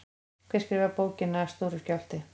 Hver skrifaði bókina Stóri skjálfti?